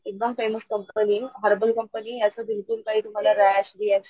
एकदम फेमस कंपनीये हर्बल कंपनीये याच बिलकुल काही तुम्हला रॅश रिअक्शन,